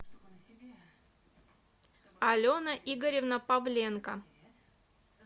алена игоревна павленко